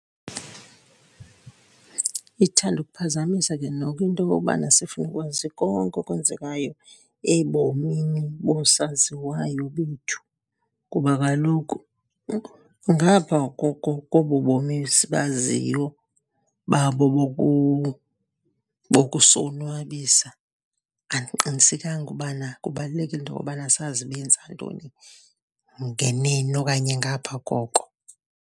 Ithanda ukuphazamisa ke noko into okokubana sifune ukwazi konke okwenzekayo ebomini boosaziwayo bethu. Kuba kaloku ngapha koko kobu bomi sibaziyo babo bokusonwabisa, andiqinisekanga ubana kubalulekile into obana sazi benza ntoni ngeneno okanye ngapha koko.